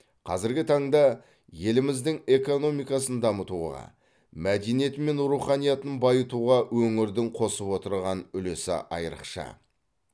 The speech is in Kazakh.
қазіргі таңда еліміздің экономикасын дамытуға мәдениеті мен руханиятын байытуға өңірдің қосып отырған үлесі айрықша